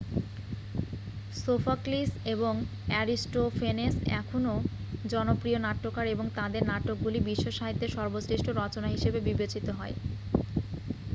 Sophocles এবং Aristophanes এখনও জনপ্রিয় নাট্যকার এবং তাদের নাটকগুলি বিশ্বসাহিত্যে সর্বশ্রেষ্ঠ রচনা হিসেবে বিবেচিত হয়